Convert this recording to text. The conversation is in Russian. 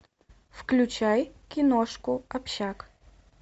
включай киношку общак